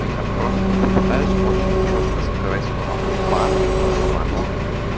я просто попытаюсь очень чётко сказать слово бан чтобы оно